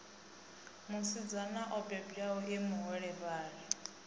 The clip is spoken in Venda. musidzana o bebwaho e muholefhali